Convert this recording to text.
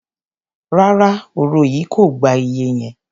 Rárá, òro yìí kò gba iye yẹn.